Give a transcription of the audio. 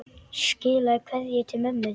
Skilaðu kveðju til ömmu þinnar.